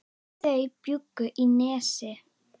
Þau bjuggu í Nesi.